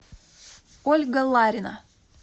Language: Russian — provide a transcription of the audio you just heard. ольга ларина